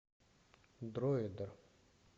дройдер